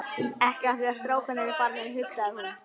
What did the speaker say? Ekki af því að strákarnir eru farnir, hugsaði hún.